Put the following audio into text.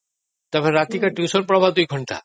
ରାତିକୁ ଟ୍ୟୁସନ ପଢ଼ିବାବି ୨ ଘଣ୍ଟା